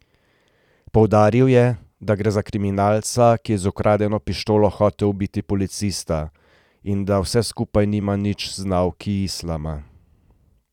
Poudaril je, da gre za kriminalca, ki je z ukradeno pištolo hotel ubiti policista, in da vse skupaj nima nič z nauki islama.